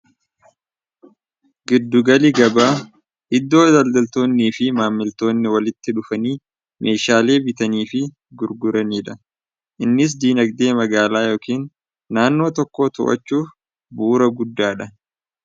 Giddugalli gabaa iddoo daldaltoonni fi maammiltoonni walitti dhufanii meeshaalee bitanii fi gurguraniidha. Innis diinagdee magaalaa yookiin naannoo tokkoo utubuu irratti bu'uura guddaadha.